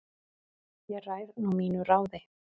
Ég ræð nú mínu ráði